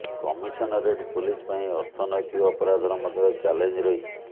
commissionerate police ପାଇଁ ଅର୍ଥନୈତିକ ଅପରାଧର ମଧ୍ୟ ଚାଲେଞ୍ଜ ରହିଛି